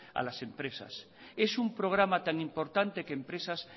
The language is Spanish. a las empresas es un programa tan importante que empresas